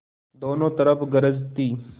दोनों तरफ गरज थी